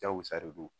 Jago sa de don